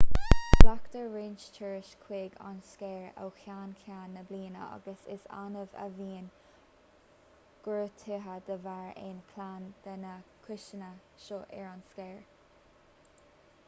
glactar roinnt turas chuig an scéir ó cheann ceann na bliana agus is annamh a bhíonn gortuithe de bharr aon cheann de na cúiseanna seo ar an scéir